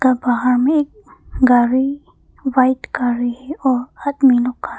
का बाहर में गाड़ी व्हाइट गाड़ी और आदमी लोग खड़ा--